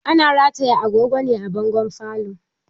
Ana rataya agogo ne a bangon falo